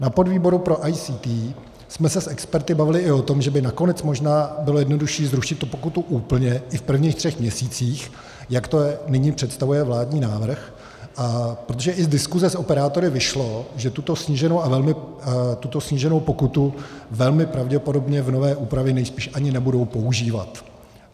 Na podvýboru pro ICT jsme se s experty bavili i o tom, že by nakonec možná bylo jednodušší zrušit tu pokutu úplně i v prvních třech měsících, jak to nyní představuje vládní návrh, protože i z diskuse s operátory vyšlo, že tuto sníženou pokutu velmi pravděpodobně v nové úpravě nejspíš ani nebudou používat.